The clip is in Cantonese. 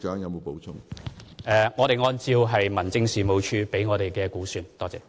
我們是按照民政署提供的資料來估算。